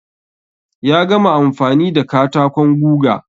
Ya gama amfani da katakon guga.